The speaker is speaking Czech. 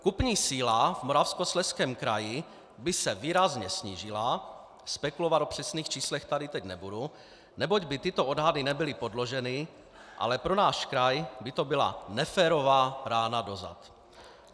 Kupní síla v Moravskoslezském kraji by se výrazně snížila - spekulovat o přesných číslech tady teď nebudu, neboť by tyto odhady nebyly podloženy, ale pro náš kraj by to byla neférová rána do zad.